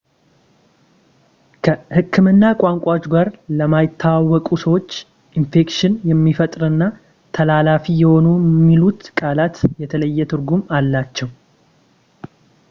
ከህክምና ቋንቋዎች ጋር ለማይተዋወቁ ሰዎች ኢንፌክሽን የሚፈጥርና ተላላፊ የሆነ የሚሉት ቃላት የተለየ ትርጉም አላቸው